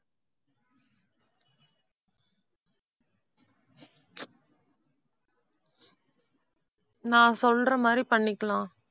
நான் சொல்ற மாதிரி பண்ணிக்கலாம்